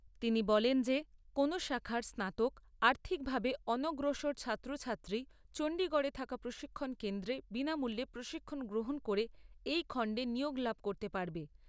তিনি বলেন যে কোনো শাখার স্নাতক, আর্থিকভাবে অনগ্রসর ছাত্রছাত্রী চণ্ডীগড়ে থাকা প্রশিক্ষণ কেন্দ্রে বিনামূল্যে প্রশিক্ষণ গ্রহন করে এই খণ্ডে নিয়োগ লাভ করতে পারবে।